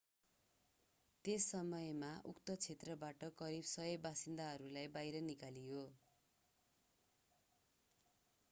त्यस समयमा उक्त क्षेत्रबाट करिब 100 बासिन्दाहरूलाई बाहिर निकालियो